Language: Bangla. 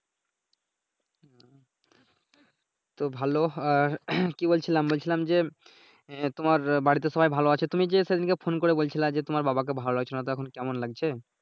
তো ভালো আহ কি বলছিলাম বলছিলাম যে আহ তোমার বাড়িতে সবাই ভালো আছে। তুমি যে সেদিনকে ফোন করে বলছিলো যে তোমার বাবাকে ভালো লাগছে নাহ তো এখন কেমন লাগছে?